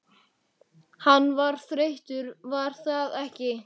Hann varð þreyttur var það ekki?